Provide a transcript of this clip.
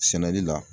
Sɛnɛli la